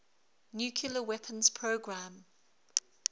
nuclear weapons program